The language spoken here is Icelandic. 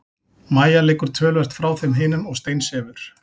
Mæja liggur töluvert frá þeim hinum og steinsefur.